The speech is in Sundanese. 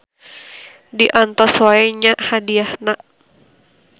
Diantos wae nya hadiahna.